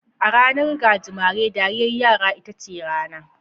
A ranar gajimare, dariyar yara ita ce rana.